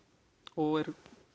og er